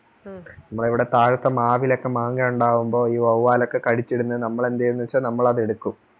നമ്മളുടെ ഇവിടെ താഴത്തെ മാവിലൊക്കെ മാങ്ങാ ഉണ്ടാവുമ്പോൾ ഈ വൊവ്വൽ ഒക്കെ കടിച്ചു ഇടുന്നതു നമ്മൾ എന്ത് ചെയുമെന്നുവെച്ചാൽ നമ്മൾ അത് എടുക്കും